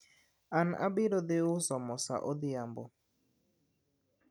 an abiro dhi uso mo sa odhiambo